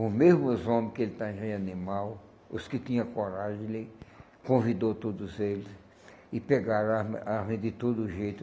Os mesmos homem que ele estava engenhando animal, os que tinha coragem, ele convidou todos eles e pegaram a arma arma de todo jeito.